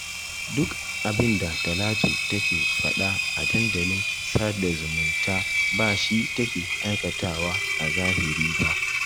Duk abinda Talatu take faɗa a dandalin sada zumunta ba shi take aikatawa a zahiri ba